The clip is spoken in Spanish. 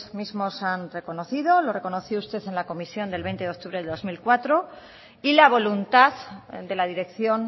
mismos han reconocido lo reconoció usted en la comisión del veinte de octubre del dos mil cuatro y la voluntad de la dirección